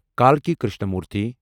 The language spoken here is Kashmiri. کالکی کرشنامورتھی